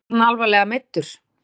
Er hann alvarlega meiddur?